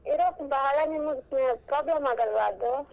Europe ಬಾಳ ನಿಮಗ್ problem ಆಗಲ್ವಾ ಅದು?